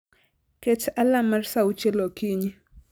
Ket alarm mar saa auchiel okinyi